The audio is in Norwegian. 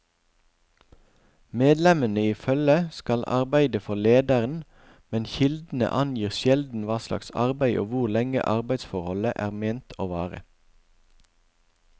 Medlemmene i følget skal arbeide for lederen, men kildene angir sjelden hva slags arbeid og hvor lenge arbeidsforholdet er ment å vare.